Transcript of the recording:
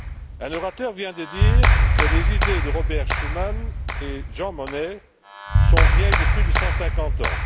Un orateur vient de dire que les idées de Robert Schuman et de Jean Monnet sont vieilles de plus de 150 ans.